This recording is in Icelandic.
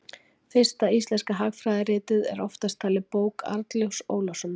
fyrsta íslenska hagfræðiritið er oftast talið bók arnljóts ólafssonar